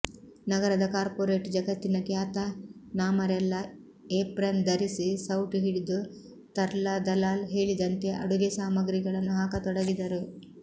ನಗರದ ಕಾರ್ಪೋರೇಟ್ ಜಗತ್ತಿನ ಖ್ಯಾತನಾಮರೆಲ್ಲ ಏಪ್ರನ್ ಧರಿಸಿ ಸೌಟು ಹಿಡಿದು ತರ್ಲಾ ದಲಾಲ್ ಹೇಳಿದಂತೆ ಅಡುಗೆ ಸಾಮಗ್ರಿಗಳನ್ನು ಹಾಕತೊಡಗಿದರು